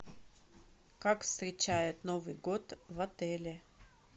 как встречают новый год в отеле